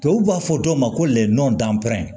Tubabu b'a fɔ dɔw ma ko lɛw dan petɛ